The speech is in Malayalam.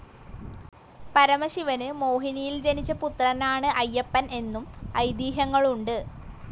പരമശിവന് മോഹിനിയിൽ ജനിച്ച പുത്രനാണ് അയ്യപ്പൻ എന്നും ഐതിഹ്യങ്ങളുണ്ട്.